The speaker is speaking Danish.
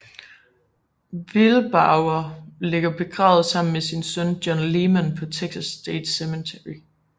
Wilbarger ligger begravet sammen med sin søn John Leman på Texas State Cemetery